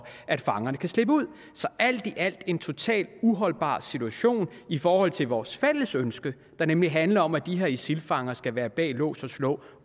at fangerne kan slippe ud så alt i alt er det en totalt uholdbar situation i forhold til vores fælles ønske der nemlig handler om at de her isil fanger skal være bag lås og slå